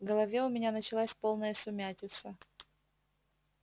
в голове у меня началась полная сумятица